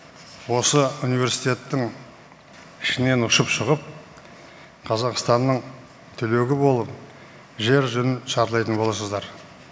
осы университеттің ішінен ұшып шығып қазақстанның түлегі болып жер жүзін шарлайтын боласыздар